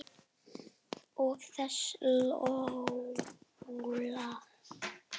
Og þessi Lola.